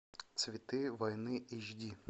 цветы войны эйч ди